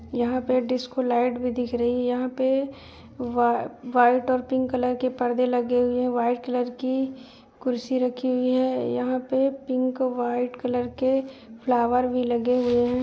यहाँ पे disco light भी दिख रही है। यहाँ पे वा वाइट और पिंक कलर के परदे लगे हुए हैं। वाइट कलर की कुर्सी रखी हुई है। यहाँ पे पिंक वाइट कलर के फ्लावर भी लगे हुए हैं।